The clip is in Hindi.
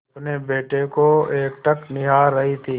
अपने बेटे को एकटक निहार रही थी